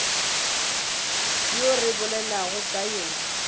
yo re bolelago ka yena